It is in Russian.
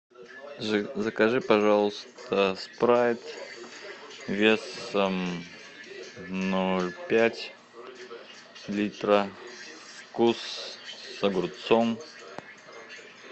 закажи пожалуйста спрайт весом ноль пять литра вкус с огурцом